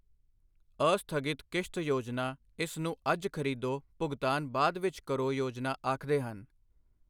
ਅਸਥਗਿਤ ਕਿਸ਼ਤ ਯੋਜਨਾ ਇਸ ਨੂੰ ਅੱਜ ਖਰੀਦੋ ਭੁਗਤਾਨ ਬਾਅਦ ਵਿੱਚ ਕਰੋ ਯੋਜਨਾ ਆਖਦੇ ਹਨ।